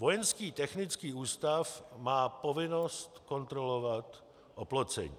Vojenský technický ústav má povinnost kontrolovat oplocení.